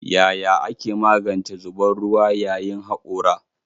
Yaya ake magance zubar ruwa yayin hakora?